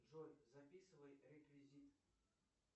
джой записывай реквизит